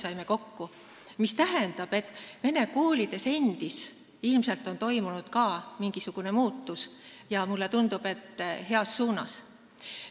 See tähendab, et vene koolides endis on ilmselt ka toimunud mingisugune muutus ja mulle tundub, et heas suunas.